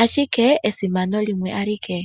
ashike esimano limwe alike.